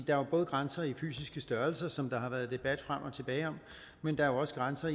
er jo både grænser i fysiske størrelser som der har været debat om frem og tilbage men der er også grænser